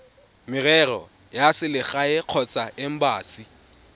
merero ya selegae kgotsa embasi